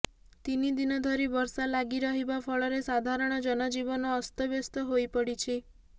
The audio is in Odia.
ତିନି ଦିନ ଧରି ବର୍ଷା ଲାଗିରହିବା ଫଳରେ ସାଧାରଣ ଜନଜୀବନ ଅସ୍ତବ୍ୟସ୍ତ ହୋଇପଡ଼ିଛି